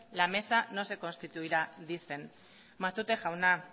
la mesa no se constituirá dicen matute jauna